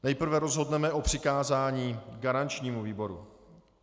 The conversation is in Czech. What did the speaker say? Nejprve rozhodneme o přikázání garančnímu výboru.